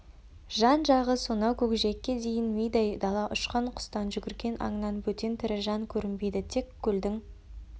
жан-жағы сонау көкжиекке дейін мидай дала ұшқан құстан жүгірген аңнан бөтен тірі жан көрінбейді тек көлдің